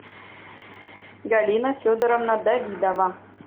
галина федоровна давидова